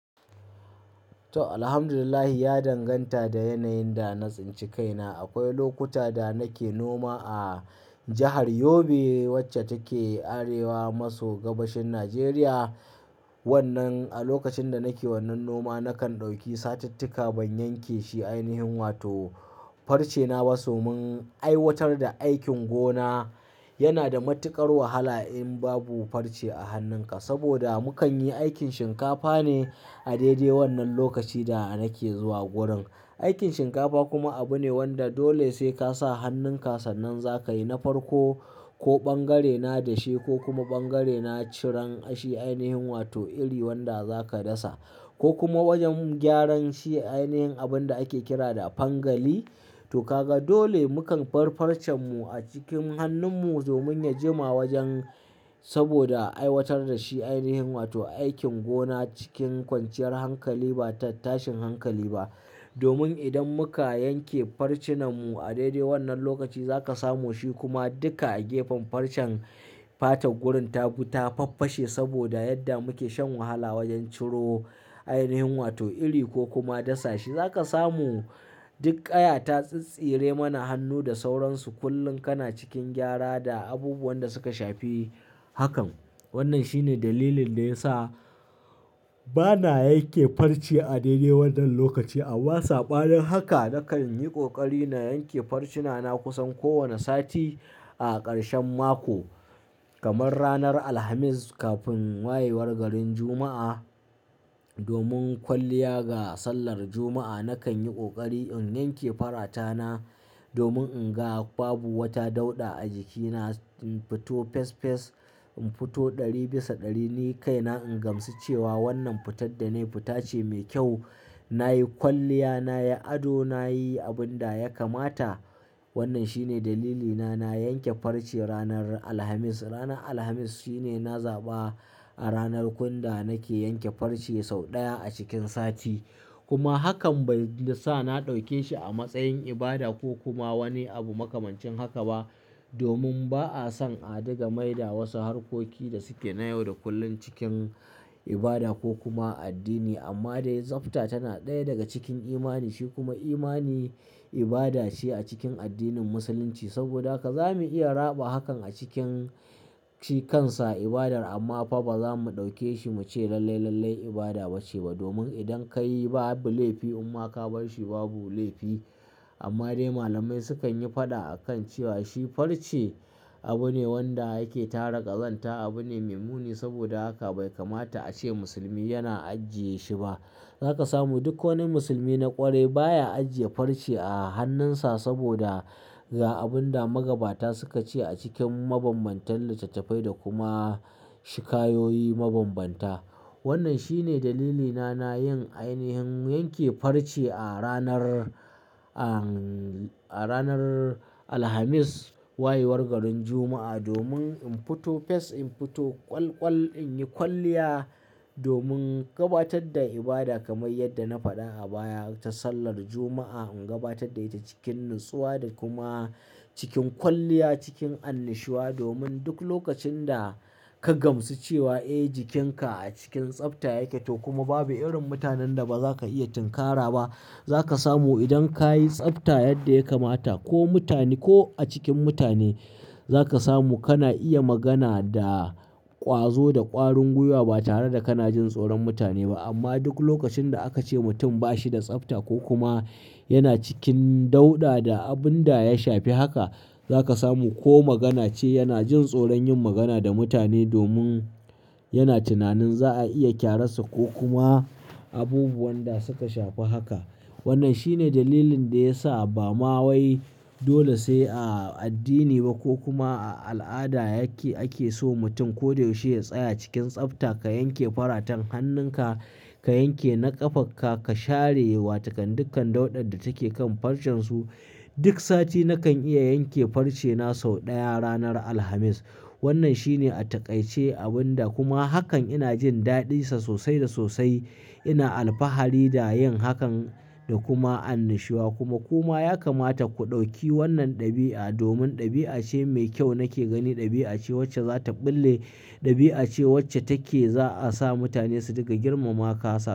To, Alhamdulillahi ya danganta da yanayin da na tsinci kaina. Akwai lokuta da nake noma a jahar Yobe wacce take arewa maso gabashin Najeriya. Wannan, a lokacin da nake wannan noma nakan ɗauki satittika ban yanke shi ainihin wato farce na ba. Domin aiwatar da aikin gona yana da matuƙar wahala in babu farce a hannunka. Saboda mukan yi aikin shinkafa ne a daidai wannan lokaci da nake zuwa gurin. Aikin shinkafa kuma abu ne wanda dole sai ka sa hannunka sannan za ka yi na farko ko bangare na dashe ko kuma bangare na ciran shi ainihin wato iri wanda za ka dasa ko kuma wajen gyaran shi ainihin abun da ake kira da fangali. To ka ga dole mukan bar farcen mu a cikin hannun mu domin ya jima wajen saboda aiwatar da shi ainihin wato aikin gona cikin kwanciyar hankali ba ta tashin hankali ba. Domin idan muka yanke farci nan mu a daidai wannan lokaci za ka samu shi kuma duka a gefen farcen fatan gurin ta gu ta faffashe saboda yadda muke shan wahala wajen ciro ainihin wato iri ko kuma dasa shi. Za ka samu duk ƙaya ta tsistsire mana hannu da sauransu kullum kana cikin gyara da abubuwan da suka shafi hakan. Wannan shine dalilin da ya sa bana yanke farce a daidai wannan lokaci. Amma sabanin haka na kan yi ƙoƙari na yanke farci na na kusan kowane sati a ƙarshen mako kamar ranar Alhamis kafin wayewar garin Juma'a. Domin kwalliya ga sallar Juma'a na kan yi ƙoƙari in yanke farata na domin in ga babu wata dauɗa a jikina. In fito fes fes, in fito ɗari bisa ɗari ni kai na in gamsu cewa wannan fitar da na yi fita ce mai kyau. Na yi kwalliya, na yi ado, na yi abin da ya kamata. Wannan shine dalilina na yanke farce ranar Alhamis. Ranar Alhamis shine na zaɓa a ranar kunda nake yanke farce sau ɗaya a cikin sati. Kuma hakan bai sa na ɗauke shi a matsayin ibada ko kuma wani abu makamancin haka ba. Domin ba'a son a ɗiga maida wasu harkoki da suke na yau da kullum cikin ibada ko kuma addini. Amma dai tsafta tana ɗaya daga cikin imani. Shi kuma imani ibada ce a cikin addinin Musulunci. Saboda haka za mu iya raɓa hakan a cikin shi kansa ibadar amma fa ba za mu ɗauke shi mu ce lalle lalle ibada ba ce ba. Domin idan ka yi babu laifi imma ka bar shi babu laifi. Amma dai malamai sukan yi faɗa a kan cewa shi farce abu ne wanda yake tara ƙazanta. Abu ne maimuni saboda haka bai kamata a ce musulmi yana ajiye shi ba. Za ka samu duk wani musulmi na ƙwarai baya ajiye farce a hannunsa saboda ga abun da magabata suka ce a cikin mabanbantan littattafai da kuma shikayoyi mabambanta. Wannan shine dalilina na yin ainihin yanke farce a ranar, an a ranar Alhamis wayewar garin Juma'a domin in fito fes, in fito ƙwalƙwal, in yi kwalliya domin gabatar da ibada kamar yadda na faɗa a baya ta sallar Juma'a. In gabatar da ita cikin natsuwa da kuma cikin kwalliya cikin annushuwa. Domin duk lokacin da ka gamsu cewa eh jikinka a cikin tsafta yake to kuma babu irin mutanen da ba za ka iya tinkara ba. Za ka samu idan ka yi tsafta yadda ya kamata ko mutane ko a cikin mutane za ka samu kana iya magana da ƙwazo da ƙwarin gwiwa ba tare da kana jin tsoron mutane ba. Amma duk lokacin da aka ce mutum ba shi da tsafta ko kuma yana cikin dauɗa da abun da ya shafi haka za ka samu ko magana ce yana jin tsoron yin magana da mutane domin yana tunanin za a iya ƙyara sa ko kuma abubuwan da suka shafi haka. Wannan shine dalilin da ya sa bamawai dole sai a addini ba ko kuma a al'ada yake ake so mutum ko da yaushe ya tsaya cikin tsafta. Ka yanke faratan hannunka, ka yanke na ƙafarka, ka share wa takan dukkan dauɗan da take kan farcen su. Duk sati na kan iya yanke farce na sau ɗaya ranar Alhamis. Wannan shine a taƙaice abun da kuma hakan ina jin daɗinsa sosai da sosai. Ina alfahari da yin hakan da kuma annushuwa kuma kuma ya kamata ku ɗauki wannan ɗabi'a domin ɗabi'a ce mai kyau nake gani. Ɗabi'a ce wacce za ta ɓulle, ɗabi'a ce wacce take za a sa mutane su diƙa girmama ka sa.